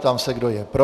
Ptám se, kdo je pro.